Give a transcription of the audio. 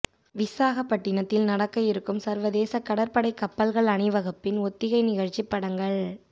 விசாகப்பட்டினத்தில் நடக்க இருக்கும் சர்வதேச கடற்படைப் கப்பல்கள் அணிவகுப்பின் ஒத்திகை நிகழ்ச்சி படங்கள்